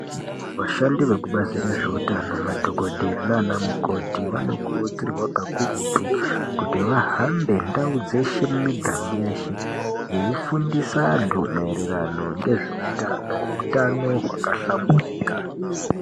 Vashandi vekubazi rezveutano madhokodheya naanamukoti, vanokurudzirwa kakurutu kuti vahambe ndau dzeshe, mumiganga yeshe, veifundisa vantu maererano ngezveutano, utano hwakahlamburika.